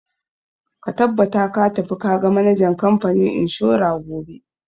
Ka tabbata ka tafi ka ga manajan kamfanin inshora gobe!